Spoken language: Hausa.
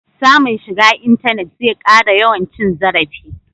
Samun shiga intanet zai ƙara yawan cin zarafi.